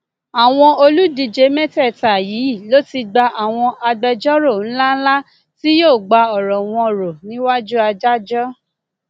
àwọn olùdíje mẹtẹẹta yìí ló ti gba àwọn agbẹjọrò ńlá ńlá tí yóò gba ọrọ wọn rò níwájú adájọ